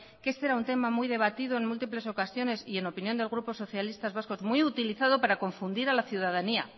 que este era un tema muy debatido en múltiples ocasiones y en opinión del grupo socialistas vascos muy utilizado para confundir a la ciudadanía